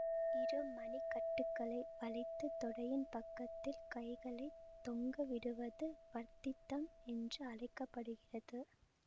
இரு மணி கட்டுகளை வளைத்து தொடையின் பக்கத்தில் கைகளைத் தொங்கவிடுவது வர்த்தித்தம் என்று அழைக்க படுகிறது